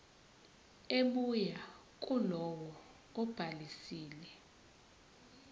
ebuya kulowo obhalisile